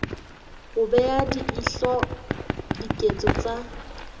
ho bea leihlo diketso tsa